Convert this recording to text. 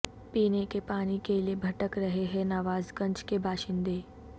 پینے کے پانی کیلئے بھٹک رہے ہیں نواز گنج کے باشندے